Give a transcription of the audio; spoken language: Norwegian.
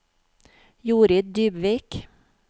Jorid Dybvik